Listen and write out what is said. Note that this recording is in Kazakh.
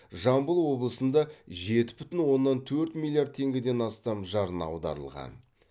жамбыл облысында жеті бүтін оннан төрт миллиард теңгеден астам жарна аударылған